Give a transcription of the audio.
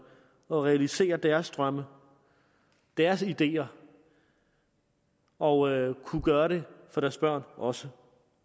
og realisere deres drømme deres ideer og kunne gøre det for deres børn også